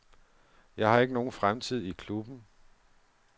Jeg ikke har nogen fremtid i klubben.